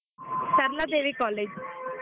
Saraladevi college .